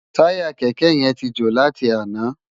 Tàyá kèkè yèn ti jó láti àná